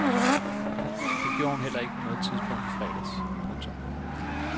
Det gjorde hun heller ikke på noget tidspunkt i fredags. punktum